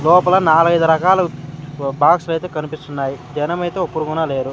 లోపల నాలగైదు రకాలు వ బాక్సలైతే కనిపిస్తున్నాయి జనం ఐతే ఒక్కురుగున లేరు.